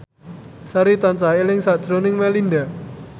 Sari tansah eling sakjroning Melinda